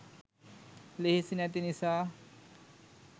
ලෙහෙසි නැති නිසා.